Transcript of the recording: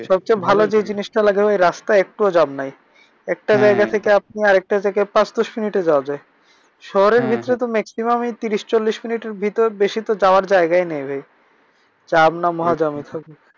সবচেয়ে ভালো যেই জিনিসটা লাগে ভাই রাস্তায় একটুও জ্যাম নাই। একটা জায়গা থেকে আপনি আর একটা জায়গায় পাঁচ দশ মিনিটে যাওয়া যায়। শহরের বিতরে তো maximun ই ত্রিশ চল্লিশ মিনিটের বিতরে বেশি তো যাওয়ার জায়গাই নাই ভাই। জ্যাম নাই মহা জ্যাম